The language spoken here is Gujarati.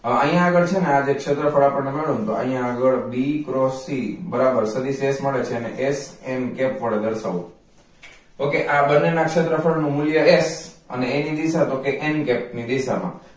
હવે અહિયાં આગડ છે ને આ જે ક્ષેત્રફળ આપણને મળ્યું ને તો અહિયાં આગળ b cross c બરાબર સદિસ s મળે છે ને એને h n cap વડે દર્શાવવું ok આ બંને નાં ક્ષેત્રફળ નુ મૂલ્ય h અને એની દિશા તો કે n cap ની દિશા મા